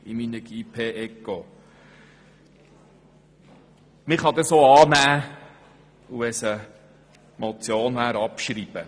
Man könnte den Antrag auch annehmen und – wäre er eine Motion– abschreiben.